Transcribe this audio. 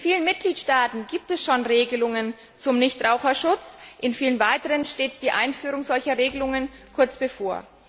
In vielen Mitgliedstaaten gibt es schon Regelungen zum Nichtraucherschutz, und in vielen weiteren steht die Einführung solcher Regelungen kurz bevor.